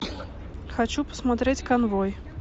хочу посмотреть конвой